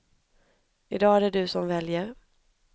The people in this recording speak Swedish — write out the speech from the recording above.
I dag är det du som väljer.